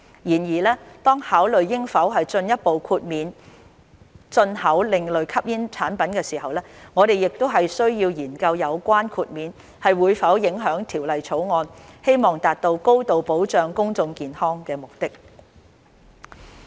然而，當考慮應否進一步豁免進口另類吸煙產品時，我們須研究有關的豁免會否影響《條例草案》希望達到高度保障公眾健康的目的。